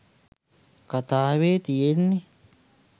කතාවෙ තියෙන්නෙ